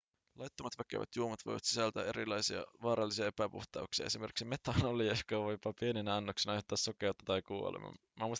laittomat väkevät juomat voivat sisältää erilaisia vaarallisia epäpuhtauksia esimerkiksi metanolia joka voi jopa pieninä annoksina aiheuttaa sokeutta tai kuoleman